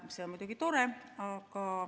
See on muidugi tore.